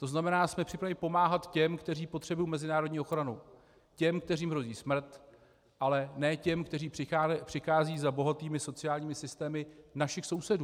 To znamená, jsme připraveni pomáhat těm, kteří potřebují mezinárodní ochranu, těm, kterým hrozí smrt, ale ne těm, kteří přicházejí za bohatými sociálními systémy našich sousedů.